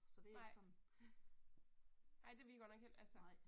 Nej. Nej det er vi godt nok altså